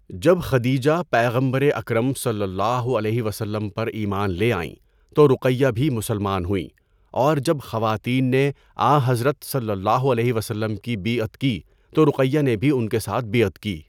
جب خدیجہ پیغمبر اکرم صلی اللہ علیہ وسلم پر ایمان لے آئیں تو رقیہ بھی مسلمان ہوئیں اور جب خواتین نے آنحضرت صلی اللہ علیہ وسلم کی بیعت کی تو رقیہ نے بھی ان کے ساتھ بیعت کی۔